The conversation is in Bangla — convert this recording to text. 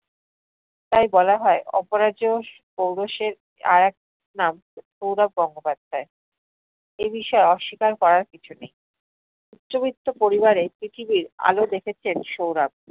তাই বলা হয় অপরাজেয় পৌরুষের আরেক নাম সৌরভ গঙ্গোপাধ্যায়, এই বিষয়ে আস্বিকার করার কিছু নেই। উচ্চবিত্ত পরিবারে পৃথিবীর আলো দেখেছেন সৌরভ।